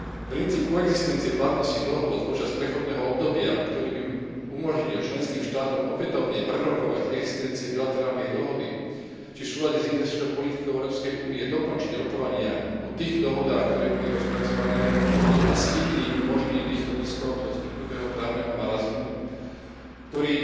Princíp koexistencie platnosti dohôd počas prechodného obdobia, ktorý by umožnil členským štátom opätovne prerokovať existenciu bilaterálnej dohody, či v súlade s investičnou politikou Európskej únie dokončiť rokovania o tých dohodách, ktoré boli rozpracované, je asi jediným možným východiskom zo vzniknutého právneho marazmu, ktorý